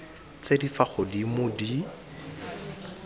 tse di fa godimo di